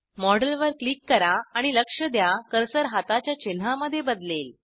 मॉडेलवर क्लिक करा आणि लक्ष द्या कर्सर हाताच्या चिन्हामध्ये बदलेल